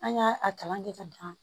An y'a a kalan kɛ ka ban